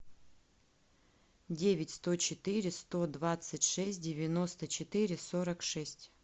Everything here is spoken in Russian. девять сто четыре сто двадцать шесть девяносто четыре сорок шесть